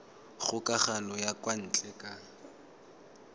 kgokagano ya kwa ntle ka